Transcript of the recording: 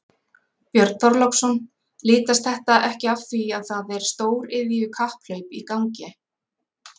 Björn Þorláksson: Litast þetta ekki af því að það er stóriðju kapphlaup í gangi?